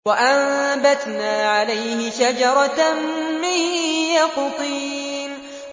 وَأَنبَتْنَا عَلَيْهِ شَجَرَةً مِّن يَقْطِينٍ